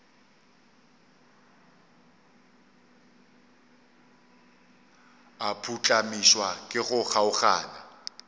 a phuhlamišwa ke go kgaogana